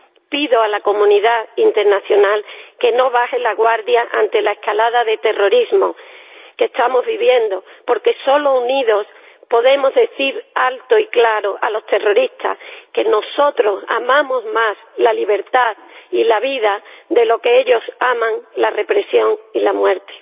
Pido a la comunidad internacional que no baje la guardia ante la escalada de terrorismo que estamos viviendo, porque solo unidos podemos decir alto y claro a los terroristas que nosotros amamos más la libertad y la vida de lo que ellos aman la represión y la muerte.